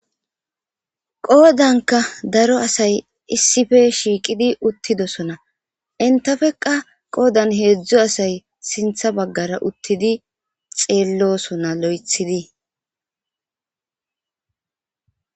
Qodanka daro asay issipe shiqidi uttosona entappeka hezhu asay sintha bagara uttidi xelosona loythidi.